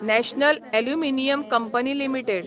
national aluminium company limited